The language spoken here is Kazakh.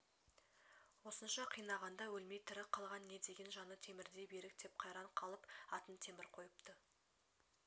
осынша қинағанда өлмей тірі қалған не деген жаны темірдей берік деп қайран қалып атын темір қойыпты